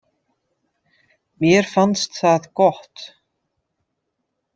Mér fannst það gott.